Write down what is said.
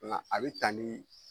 Nga a be taa nin